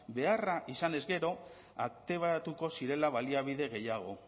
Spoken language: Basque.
beharra izanez gero aktibatuko zirela baliabide gehiago